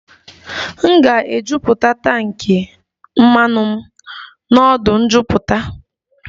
M ga-ejuputa tankị mmanụ m n'ọdụ njuputa